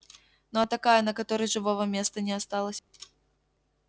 ну а такая на которой живого места не осталось